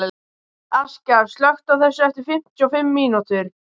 Þið getið ekki lokað hann inni svona á sig kominn